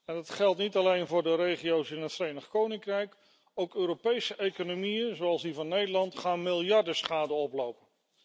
En dat geldt niet alleen voor de regio's in het Verenigd Koninkrijk, ook Europese economieën zoals die van Nederland gaan miljarden schade oplopen.